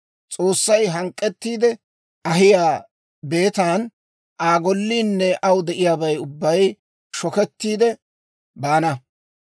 S'oossay hank'k'ettiide ahiyaa beetan Aa golliinne aw de'iyaabay ubbay shokettiide baana.